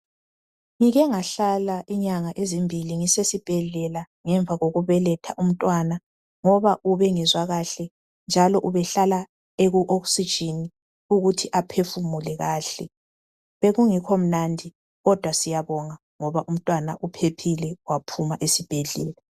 Ngike ngahlala inyanga ezimbili ngisesibhedlela ngemva kokubeletha umntwana ngoba ubengezwa kahle njalo ubehlala ekuoxygen ukuthi aphefumule kahle bekungekho mnandi kodwa siyabonga ngoba umntwana uphephile waphuma esibhedlela.